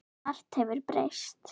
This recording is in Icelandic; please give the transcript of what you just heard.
Margt hefur breyst.